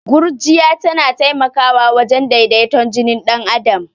Gurjiya tana taimakwa wajen daidaton jini dan adam.